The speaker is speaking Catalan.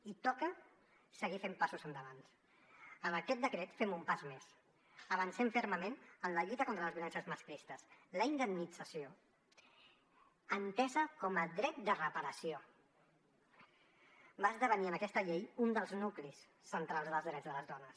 i toca seguir fent passos endavant amb aquest decret fem un pas més avancem fermament en la lluita contra les violències masclistesla indemnització entesa com a dret de reparació va esdevenir en aquesta llei un dels nuclis centrals dels drets de les dones